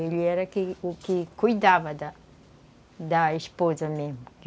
Ele era o que o que cuidava da da esposa mesmo.